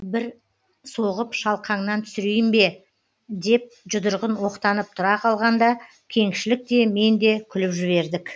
бір соғып шалқаңнан түсірейін бе деп жұдырығын оқтанып тұра қалғанда кеңшілік те мен де күліп жібердік